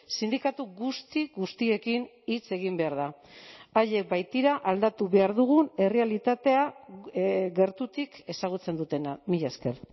sindikatu guzti guztiekin hitz egin behar da haiek baitira aldatu behar dugun errealitatea gertutik ezagutzen dutena mila esker